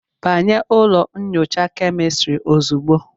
Banye ụlọ nyocha kemịstri ozugbo